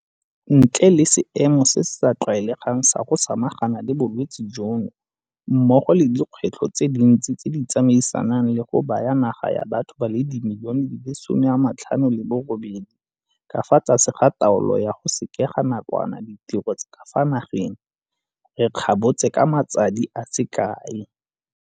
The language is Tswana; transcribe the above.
Ntle le seemo se se sa tlwaelegang sa go samagana le bolwetse jono mmogo le dikgwetlho tse dintsi tse di tsamaisanang le go baya naga ya batho ba le dimilione di le 58 ka fa tlase ga taolo ya go sekega nakwana ditiro tsa ka fa na geng, re kgabotse ka matsadi a se kae.